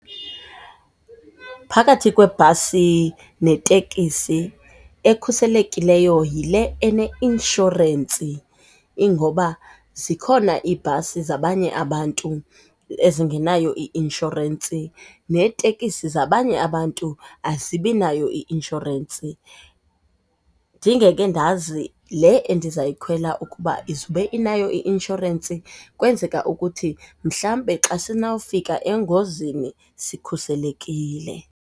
Phakathi kwebhasi netekisi ekhuselekileyo yile eneinshorensi ingoba zikhona iibhasi zabanye abantu ezingenayo i-inshorensi, neetekisi zabanye abantu azibinayo i-inshorensi. Ndingeke ndazi le endizoyikhwela ukuba izube inayo i-inshorensi kwenzeka ukuthi mhlambe xa sinofika engozini sikhuselekile.